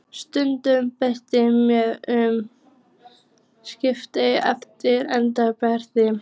Staðurinn breytti mjög um svip eftir endurbæturnar.